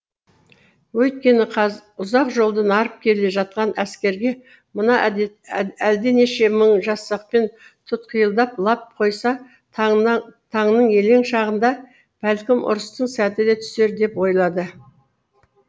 өйткені ұзақ жолдан арып келе жатқан әскерге мына әлденеше мың жасақпен тұтқиылдап лап қойса таңның елең шағында бәлкім ұрыстың сәті де түсер деп ойлады